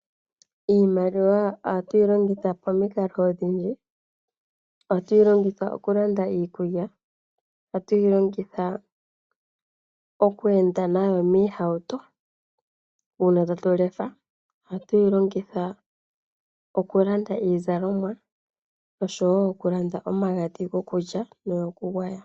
Iimaliwa ohatu yi longitha pomikalo odhindji . Ohatu yi longitha okulanda iikulya, ohatu yi longitha okweenda nayo miihauto, uuna tatu lefa ohatu yi longitha okulanda iizalomwa oshowoo okulanda omagadhi gokulya nogokugwaya.